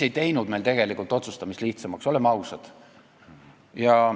... ei teinud meil tegelikult otsustamist lihtsamaks, oleme ausad.